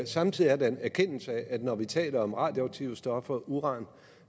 samtidig er der en erkendelse af at når vi taler om radioaktive stoffer uran